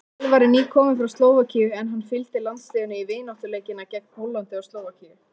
Elvar er nýkominn frá Slóvakíu en hann fylgdi landsliðinu í vináttuleikina gegn Póllandi og Slóvakíu.